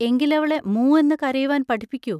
എങ്കിലവളെ മൂ എന്ന് കരയുവാൻ പഠിപ്പിക്കൂ.